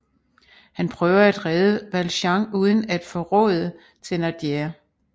Han prøver at redde Valjean uden at forråde Thénardier